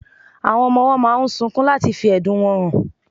Awón ọmọ owó máà ń sunkún láti fí ẹ̀dùn wọn hàn